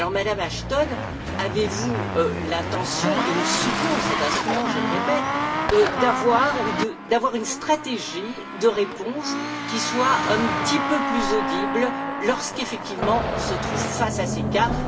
Alors, Madame Ashton, avez vous l'intention et nous soutenons cet instrument, je le répète d'avoir une stratégie de réponse qui soit un petit peu plus audible, lorsqu'effectivement on se trouve face à ces cas.